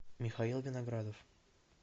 михаил виноградов